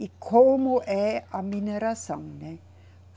E como é a mineração, né?